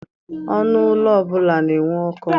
Ọnụ ụlọ ọbụla na-enwe ọkụ.